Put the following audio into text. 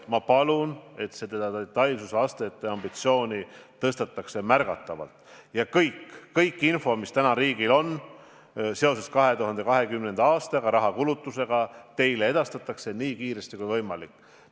Ma palun, et detailsuse astet tõstetaks märgatavalt ja et kogu info, mis riigil täna 2020. aastal kulutatava raha kohta on, edastataks teile nii kiiresti kui võimalik.